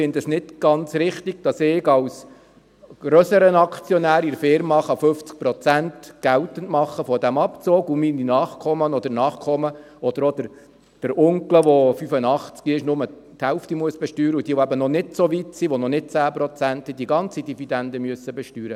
Ich finde es nicht ganz richtig, dass ich als grösserer Aktionär in der Unternehmung 50 Prozent des Abzugs geltend machen kann, während meine Nachkommen oder auch der Onkel, der 85 Jahre alt ist, nur die Hälfte besteuern müssen, und wer noch nicht so weit ist, noch nicht 10 Prozent hat, muss die ganze Dividende besteuern.